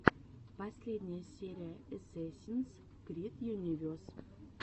последняя серия эсэсинс крид юнивес